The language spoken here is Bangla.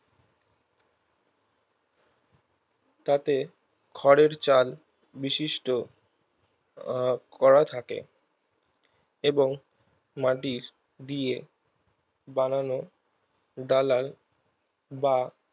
তাতে খড়ের চাল বিশিষ্ট আহ খোয়া থাকে এবং মাটি দিয়ে বানানো ডালায় বা